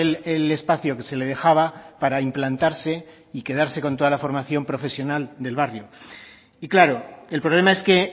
el espacio que se le dejaba para implantarse y quedarse con toda la formación profesional del barrio y claro el problema es que